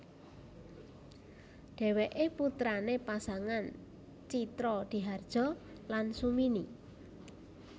Dheweke putrane pasangan Tjitrodihardjo lan Sumini